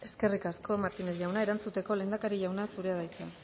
eskerrik asko martínez jauna erantzuteko lehendakari jauna zurea da hitza